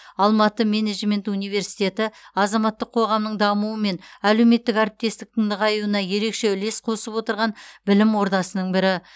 алматы менеджмент университеті азаматтық қоғамның дамуы мен әлеуметтік әріптестіктің нығаюына ерекше үлес қосып отырған білім ордасының бірі